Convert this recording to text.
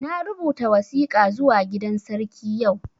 Na rubuta wasika zuwa gidan sarki yau